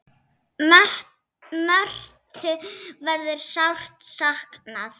Mörthu verður sárt saknað.